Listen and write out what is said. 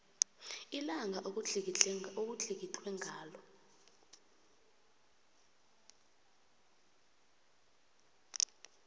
ilanga okutlikitlwe ngalo